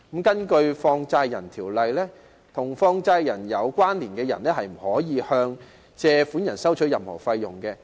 根據《放債人條例》，與放債人有關連的人士不可以向借款人收取任何費用。